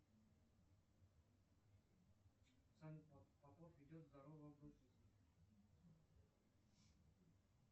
салют попов ведет здоровый образ жизни